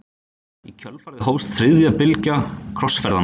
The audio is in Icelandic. Í kjölfarið hófst þriðja bylgja krossferðanna.